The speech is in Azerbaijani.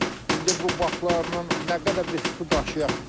İndi bu baklarla nə qədər biz su daşıyaq.